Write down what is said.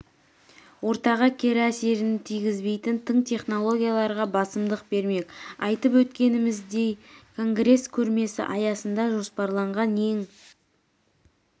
ортаға кері әсерін тигізбейтін тың технологияларға басымдық бермек айтып өткеніміздей конгресс көрмесі аясында жоспарланған ең